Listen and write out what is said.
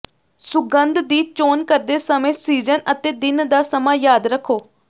ਸੁਗੰਧ ਦੀ ਚੋਣ ਕਰਦੇ ਸਮੇਂ ਸੀਜ਼ਨ ਅਤੇ ਦਿਨ ਦਾ ਸਮਾਂ ਯਾਦ ਰੱਖੋ